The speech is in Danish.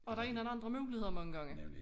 Og der ikke andre muligheder mange gange